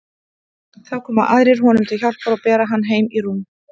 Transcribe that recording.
Þá koma aðrir honum til hjálpar og bera hann heim í rúm.